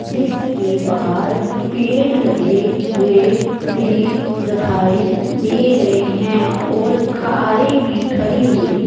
जिसके बाहर पेड़ लगे हुए भी दिखाई दे रहे हैं और कारें भी खड़ी हुई--